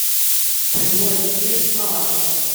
прямой эфир с малаховым